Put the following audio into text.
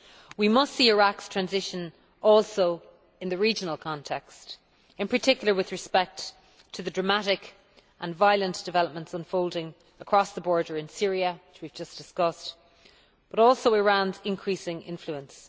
We must see Iraq's transition also in the regional context in particular with respect to the dramatic and violent developments unfolding across the border in Syria, which we have just discussed, but also Iran's increasing influence.